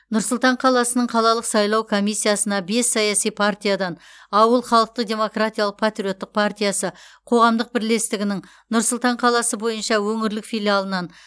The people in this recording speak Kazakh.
нұр сұлтан қаласының қалалық сайлау комиссиясына бес саяси партиядан ауыл халықтық демократиялық патриоттық партиясы қоғамдық бірлестігінің нұр сұлтан қаласы бойынша өңірлік филиалынан